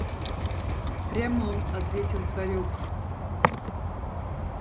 в прямом ответил хорёк